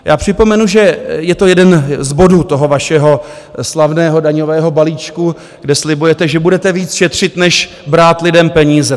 Já připomenu, že je to jeden z bodů toho vašeho slavného daňového balíčku, kde slibujete, že budete víc šetřit, než brát lidem peníze.